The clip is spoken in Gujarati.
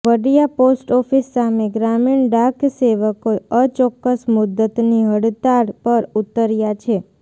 વડિયા પોસ્ટઓફિસ સામે ગ્રામીણ ડાકસેવકો અચોક્કસ મુદ્દતની હડતાળ પર ઉતર્યા છે